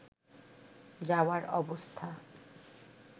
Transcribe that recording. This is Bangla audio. যাওয়ার অবস্থা